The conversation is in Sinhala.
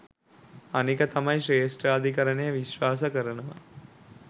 අනික තමයි ශ්‍රේෂ්ඨාධිකරණය විශ්වාස කරනවා